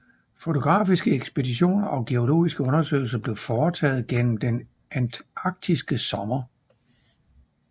Fotografiske ekspeditioner og geologiske undersøgelser blev foretaget gennem den antarktiske sommer